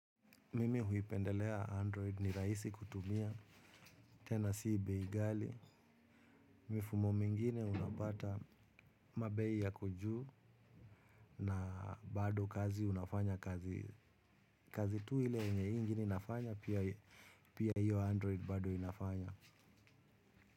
Mimi huipendelea 'Android' ni rahisi kutumia, tena si bei ghali. Mifumo mingine unapata mabei yako juu na bado kazi unafanya kazi tu ile yenye hii ingine inafanya pia pia hiyo 'Android' bado inafanya.